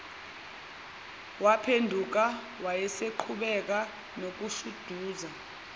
waphenduka waseqhubeka nokushuduza